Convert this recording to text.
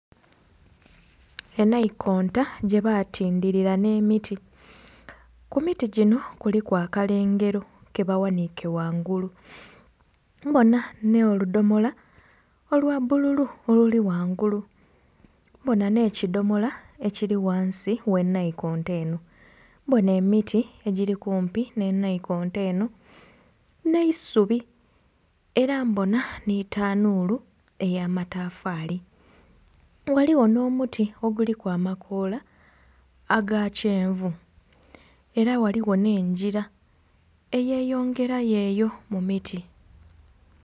Enaikonta gyebatindilira n'emiti, ku miti gino kuliku akalengero kebaghaniike ghangulu. Mbona n'oludhomola olwa bbululu oluli ghangulu, mbona n'ekidhomola ekiri ghansi gh'enaikonta eno, mbona emiti egiri kumpi nh'enaikonta eno, n'eisubi. Era mbona nhi tanuulu ey'amatafaali, ghaligho n'omuti oguliku amakoola aga kyenvu, era ghaligho n'engira eyeyongerayo eyo mu miti.